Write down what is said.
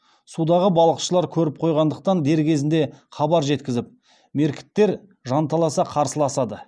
судағы балықшылар көріп қойғандықтан дер кезінде хабар жеткізіп меркіттер жанталаса қарсыласады